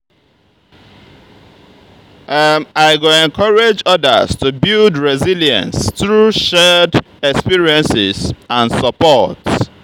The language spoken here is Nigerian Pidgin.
i go encourage others to build resilience through shared experiences and support.